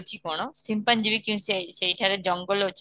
ଅଛି କ'ଣ ସିମ୍ପାଜିବି କିଂ ସେଇ ସେଇଠାରେ ଜଙ୍ଗଲ ଅଛି କ'ଣ